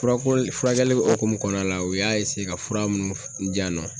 Fura furakɛli o hukumu kɔnɔna la, u y'a ka fura minnu di yan nɔ